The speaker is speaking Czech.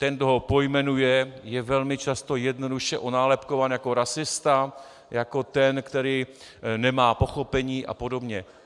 Ten, kdo ho pojmenuje, je velmi často jednoduše onálepkován jako rasista, jako ten, který nemá pochopení a podobně.